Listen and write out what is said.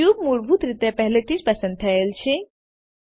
cube મૂળભૂત રીતે પહેલેથી જ પસંદ થયેલ છે